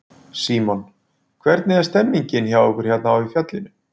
Símon: Hvernig er stemningin hjá ykkur hérna í fjallinu?